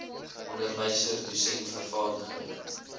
onderwyser dosent vervaardiger